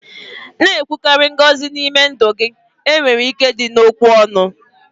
na-ekwukarị ngọzi n'ime ndụ gị, enwere ike dị n'okwu ọnụ